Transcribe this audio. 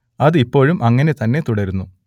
അത് ഇപ്പോഴും അങ്ങനെ തന്നെ തുടരുന്നു